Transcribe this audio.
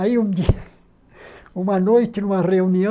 Aí, um dia uma noite, numa reunião,